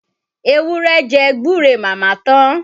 Ewúrẹ́ jẹ gbúre màmá tán.